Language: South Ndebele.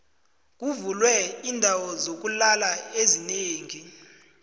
kuvulwe iindawo zokulala ezinengi